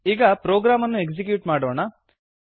ಈಗ ಪ್ರೊಗ್ರಾಮ್ ಅನ್ನು ಎಕ್ಸಿಕ್ಯೂಟ್ ಮಾಡೋಣ